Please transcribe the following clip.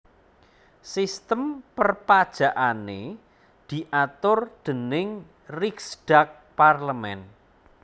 Sistem perpajakané diatur déning Riksdag parlemen